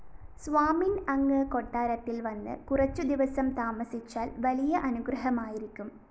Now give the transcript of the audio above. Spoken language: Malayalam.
സ്വാമിന്‍ അങ്ങ് കൊട്ടാരത്തില്‍ വന്ന് കുറച്ചുദിവസം താമസിച്ചാല്‍ വലിയ അനുഗ്രഹമായിരിക്കും